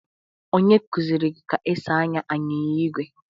Onye kuziri gi ka esi ànyà anyịnya igwe?